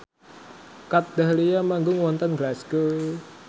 Kat Dahlia manggung wonten Glasgow